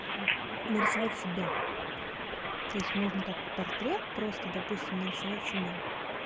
нарисовать себя то есть можно как-то портрет просто допустим нарисовать себя